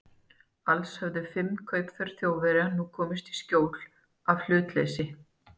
Alls höfðu fimm kaupför Þjóðverja nú komist í skjól af hlutleysi